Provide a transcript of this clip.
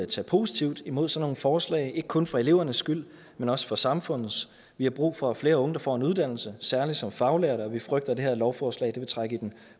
tage positivt mod sådan nogle forslag ikke kun for elevernes skyld men også for samfundets skyld vi har brug for at flere unge får en uddannelse særlig som faglærte og vi frygter at det her lovforslag vil trække i den